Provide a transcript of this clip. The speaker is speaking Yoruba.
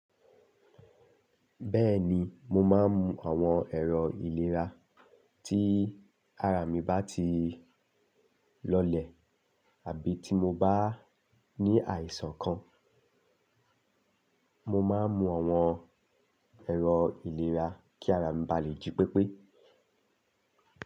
Bẹ́ẹ̀ni, mo máa ń mu àwọn ẹ̀rọ ìlera tí ara mi bá ti lọlẹ̀ àbí tí mo bá ní àìsàn kan. Mo máa ń mu àwọn ẹ̀rọ ìlera kí ara mi ba lè jí pépé.